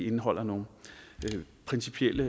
indeholder nogle principielle